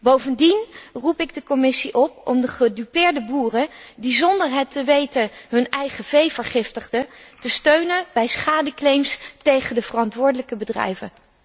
Bovendien roep ik de Commissie op om de gedupeerde boeren die zonder het te weten hun eigen vee vergiftigden, te steunen bij schadeclaims tegen de verantwoordelijke bedrijven.